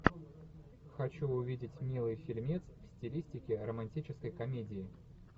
хочу увидеть милый фильмец в стилистике романтической комедии